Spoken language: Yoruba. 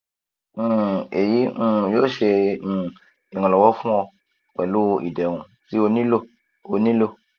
um eyi um yoo ṣe um iranlọwọ fun ọ pẹlu iderun ti o nilo o nilo